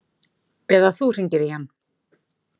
Eða þú hringir í hann.